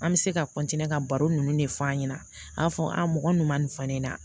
An bɛ se ka ka baro ninnu de f'an ɲɛna a b'a fɔ mɔgɔ min ma nin fɔ ne ɲɛna